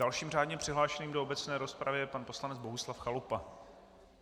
Dalším řádně přihlášeným do obecné rozpravy je pan poslanec Bohuslav Chalupa.